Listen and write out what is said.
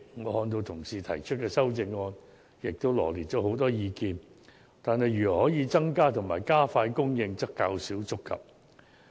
我看到同事提出的修正案，羅列了很多意見，但對於如何能夠增加和加快供應，則較少觸及。